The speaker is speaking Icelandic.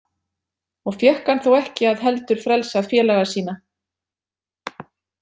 Og fékk hann þó ekki að heldur frelsað félaga sína.